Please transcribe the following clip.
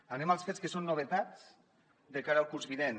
anem als fets que són novetats de cara al curs vinent